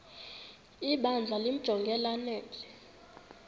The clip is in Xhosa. ibandla limjonge lanele